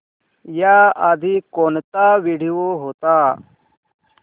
याआधी कोणता व्हिडिओ होता